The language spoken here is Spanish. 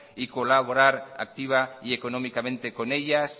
y colaborar activa y económicamente con ellas